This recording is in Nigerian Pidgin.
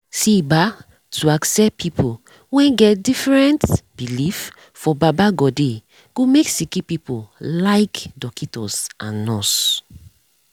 see bah to accept pple wen get different belief for baba godey go make sicki pipu like dockitos and nurse